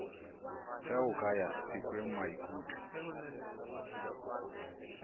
ge o ka ya sekwengmaikutlo